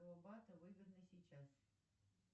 выгодно сейчас